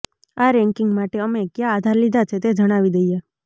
આ રેન્કિંગ માટે અમે ક્યા આધાર લીધા છે તે જણાવી દઈએ